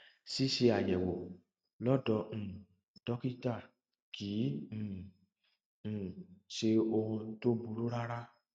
ṣíṣe àyẹwò lọdọ um dókítà kì um í um ṣe ohun tó burú rárá